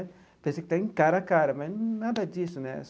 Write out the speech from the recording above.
Parece que está em cara a cara né, mas nada disso, né?